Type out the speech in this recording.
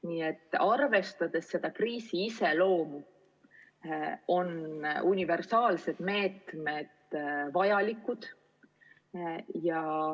Nii et arvestades kriisi iseloomu, on universaalsed meetmed vajalikud.